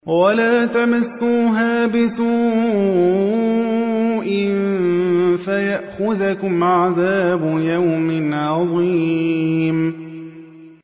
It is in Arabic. وَلَا تَمَسُّوهَا بِسُوءٍ فَيَأْخُذَكُمْ عَذَابُ يَوْمٍ عَظِيمٍ